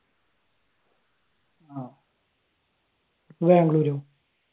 ഇപ്പ ബാംഗ്ലൂർ